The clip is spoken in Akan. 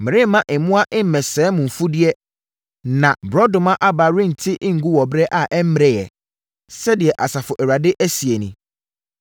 “Meremma mmoa mmɛsɛe mo mfudeɛ na borɔdɔma aba rente ngu wɔ ɛberɛ a ɛmmereɛ,” sɛdeɛ Asafo Awurade seɛ nie.